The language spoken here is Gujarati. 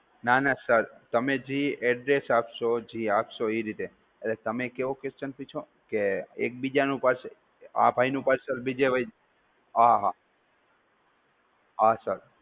ના ના સર, તમે જી address આપસો, જી આપસો એ રીતે, તમે ક્યો question પૂછ્યો એક બીજાનું parcel, આ ભાઈ નું parcel બીજે વય જાય, હા હા, હા sir